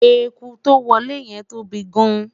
ẹkú to wolè yen tóbi gaan